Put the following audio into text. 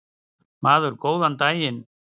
Maður: Góðan daginn.